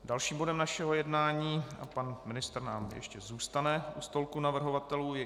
Dalším bodem našeho jednání, a pan ministr nám ještě zůstane u stolku navrhovatelů, je